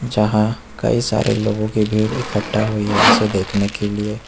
यहां कई सारे लोगों की भीड़ इकट्ठा हुई है इसे देखने के लिए।